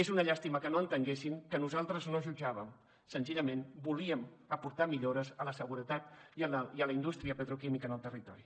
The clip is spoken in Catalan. és una llàstima que no entenguessin que nosaltres no jutjàvem senzillament volíem aportar millores a la seguretat i a la indústria petroquímica en el territori